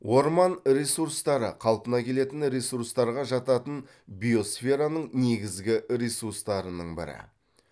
орман ресурстары қалпына келетін ресурстарға жататын биосфераның негізгі ресурстарының бірі